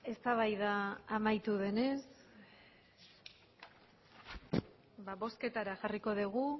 eztabaida amaitu denez bozketara jarriko dugu